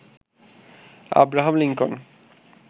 Abraham Lincoln